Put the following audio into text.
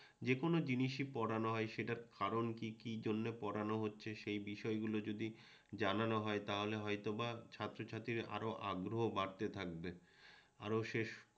যেকোনো জিনিসই পড়ানো হয় সেটার কারণ কি কি জন্যে পড়ানো হচ্ছে সেই বিষয়গুলো যদি জানানো হয় তাহলে হয়তোবা ছাত্রছাত্রীর আরও আগ্রহ বাড়তে থাকবে আরও সে